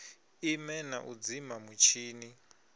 ime na u dzima mutshini